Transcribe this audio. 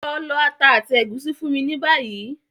Lọ lọ ata àti ègúsí fún mi ni bayi!